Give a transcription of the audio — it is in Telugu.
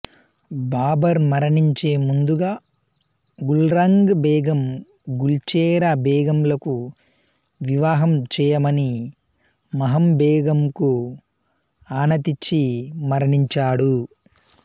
బాబర్ మరణించే ముందుగా గుల్రంగ్ బేగం గుల్చెరా బేగంలకు వివాహం చేయమని మాహంబేగంకు ఆనతిచ్చి మరణించాడు